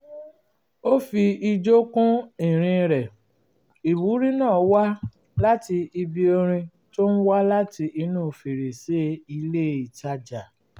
ó fi ijó kún ìrìn rẹ̀ ìwúrí náà wá láti ibi orin tó ń wá láti inú fèrèsé ilé ìtajà